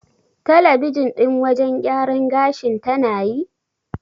Talabijin ɗin wajen gyaran gashin tana yi?